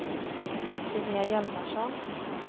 Linnea Hjalmarsson